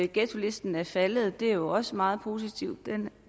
ghettolisten er faldet er også meget positivt